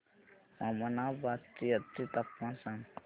ममनाबाद चे आजचे तापमान सांग